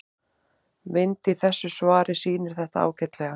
Mynd í þessu svari sýnir þetta ágætlega.